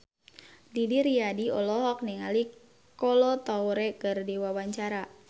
Didi Riyadi olohok ningali Kolo Taure keur diwawancara